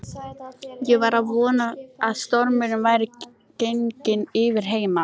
Ég var að vona að stormurinn væri genginn yfir heima.